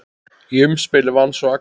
Í umspili vann svo Axel.